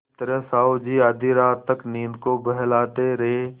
इस तरह साहु जी आधी रात तक नींद को बहलाते रहे